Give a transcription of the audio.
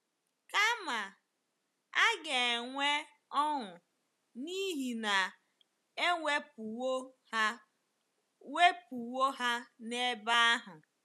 Kama, a ga-enwe ọṅụ n'ihi na e wepụwo ha wepụwo ha n'ebe ahụ.